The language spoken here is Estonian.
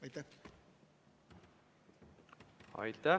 Aitäh!